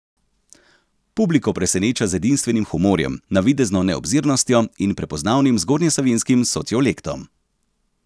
Publiko preseneča z edinstvenim humorjem, navidezno neobzirnostjo in prepoznavnim zgornjesavinjskim sociolektom.